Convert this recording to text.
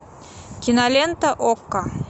кинолента окко